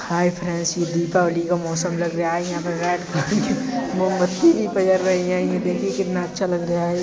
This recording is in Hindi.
हाय फ्रेंड्स ये दीपावली का मौसम लग रहा है यहां पर रेड मोमबत्ती भी पिघल रही हैये देखिए कितना अच्छा लग रहा है।